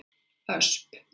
Ösp